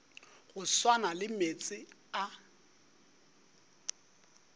go swana le meetse a